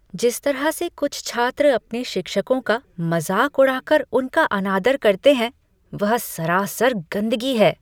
जिस तरह से कुछ छात्र अपने शिक्षकों का मजाक उड़ाकर उनका अनादर करते हैं, वह सरासर गंदगी है।